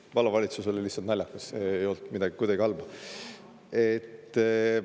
See "vallavalitsus" oli lihtsalt naljakas, see ei olnud midagi halba.